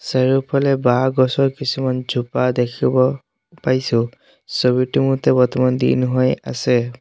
চাৰিওফালে বাঁহ গছৰ কিছুমান জোপা দেখিব পাইছোঁ ছবিটোৰ মতে বৰ্তমান দিন হৈ আছে।